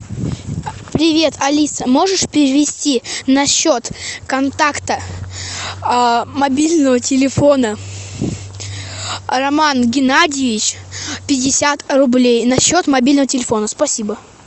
привет алиса можешь перевести на счет контакта а мобильного телефона роман геннадьевич пятьдесят рублей на счет мобильного телефона спасибо